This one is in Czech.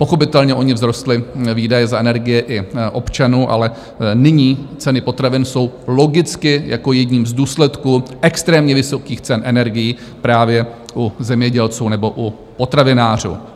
Pochopitelně ony vzrostly výdaje za energie i občanů, ale nyní ceny potravin jsou logicky jako jedním z důsledků extrémně vysokých cen energií právě u zemědělců nebo u potravinářů.